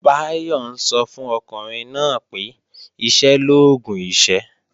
Báyọ̀ ń sọ fún ọkùnrin náà pé "iṣẹ́ l'oògùn ìṣẹ́"